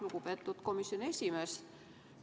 Lugupeetud komisjoni esimees!